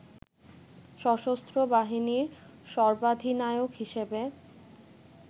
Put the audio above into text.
সশস্ত্র বাহিনীর সর্বাধিনায়ক হিসেবে